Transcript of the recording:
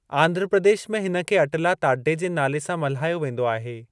आंध्र प्रदेश में हिनखे अटला ताड्डे जे नाले सां मल्हायो वेंदो आहे।